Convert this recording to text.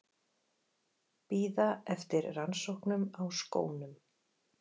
Bíða eftir rannsóknum á skónum